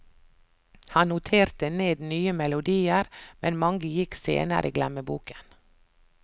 Han noterte ned nye melodier, men mange gikk senere i glemmeboken.